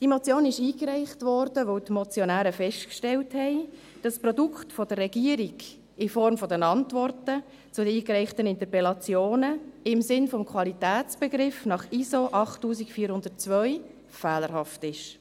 Diese Motion wurde eingereicht, weil die Motionäre festgestellt haben, dass das Produkt der Regierung in Form der Antworten zu den eingereichten Interpellationen im Sinne des Qualitätsbegriffs nach ISO 8402 fehlerhaft ist.